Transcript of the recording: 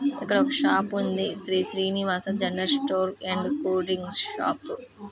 ఇక్కడొక షాప్ ఉంది. Shri Srinivasa general store and cool drinks shop .